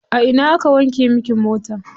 A ina aka wanke miki mota?